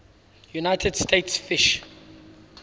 united states fish